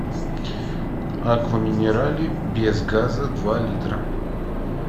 аква минерале без газа два литра